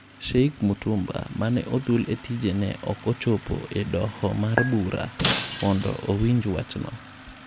Sheikh Mutumba - mane othul e tije ne ok ochopo e doho mar bura mondo owinj wachno.